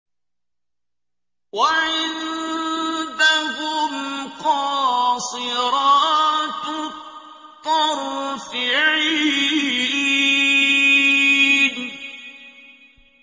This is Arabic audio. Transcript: وَعِندَهُمْ قَاصِرَاتُ الطَّرْفِ عِينٌ